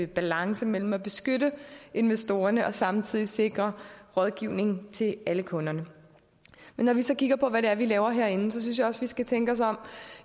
balance mellem at beskytte investorerne og samtidig sikre rådgivning til alle kunderne men når vi så kigger på hvad det er vi laver herinde synes jeg også vi skal tænke os om